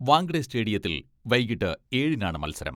വാങ്ക്ടെ സ്റ്റേഡിയത്തിൽ വൈകിട്ട് ഏഴിനാണ് മത്സരം.